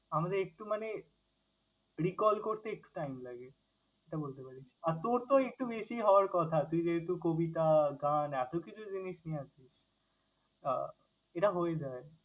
আমাদের একটু মানে recall করতে একটু time লাগে। এটা বলতে পারিস। আর তোর তো একটু বেশিই হওয়ার কথা, তুই যেহেতু কবিতা, গান এতকিছু জিনিস নিয়ে আছিস। আহ এটা হয়ে যায়।